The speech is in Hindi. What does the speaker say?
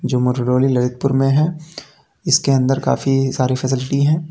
जो मारवाड़ी ललितपुर में है इसके अंदर काफी सारी फैसिलिटी हैं।